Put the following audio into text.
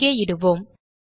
இங்கே இடுவோம்